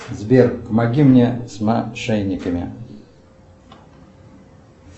сбер помоги мне с мошенниками